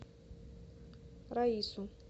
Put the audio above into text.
раису